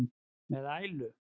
með ælu.